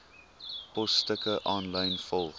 posstukke aanlyn volg